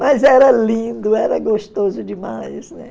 Mas era lindo, era gostoso demais, né?